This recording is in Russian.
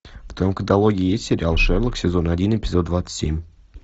в твоем каталоге есть сериал шерлок сезон один эпизод двадцать семь